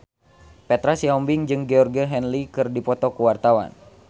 Petra Sihombing jeung Georgie Henley keur dipoto ku wartawan